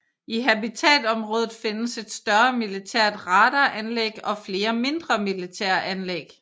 I Habitatområdet findes et større militært radaranlæg og flere mindre militære anlæg